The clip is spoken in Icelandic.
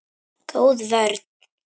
Góð vörn.